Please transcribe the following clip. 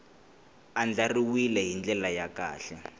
andlariwile hi ndlela ya kahle